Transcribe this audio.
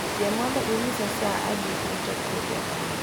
Yie mondo inyisa saa adi e Tokyo Japan